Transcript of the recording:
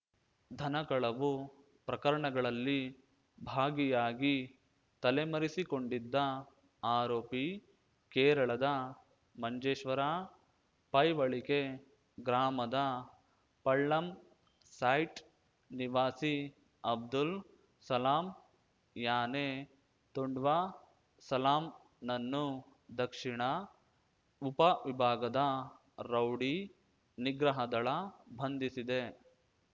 ಧನಕಳವು ಪ್ರಕರಣಗಳಲ್ಲಿ ಭಾಗಿಯಾಗಿ ತಲೆಮರೆಸಿಕೊಂಡಿದ್ದ ಆರೋಪಿ ಕೇರಳದ ಮಂಜೇಶ್ವರ ಪೈವಳಿಕೆ ಗ್ರಾಮದ ಪಳ್ಳಮ್ ಸೈಟ್ ನಿವಾಸಿ ಅಬ್ದುಲ್ ಸಲಾಂ ಯಾನೆ ತುಡ್ವ ಸಲಾಂನನ್ನು ದಕ್ಷಿಣ ಉಪವಿಭಾಗದ ರೌಡಿ ನಿಗ್ರಹದಳ ಬಂಧಿಸಿದೆ